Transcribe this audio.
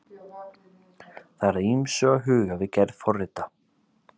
það er að ýmsu að huga við gerð forrita